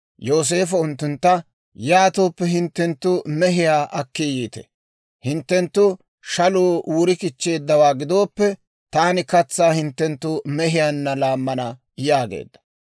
Yooseefo unttuntta, «Yaatooppe hinttenttu mehiyaa akki yiite; hinttenttu shaluu wuri kichcheeddawaa gidooppe, taani katsaa hinttenttu mehiyaanna laammana» yaageedda.